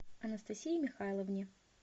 анастасии михайловне